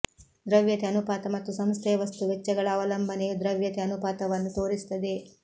ದ್ರವ್ಯತೆ ಅನುಪಾತ ಮತ್ತು ಸಂಸ್ಥೆಯ ವಸ್ತು ವೆಚ್ಚಗಳ ಅವಲಂಬನೆಯು ದ್ರವ್ಯತೆ ಅನುಪಾತವನ್ನು ತೋರಿಸುತ್ತದೆ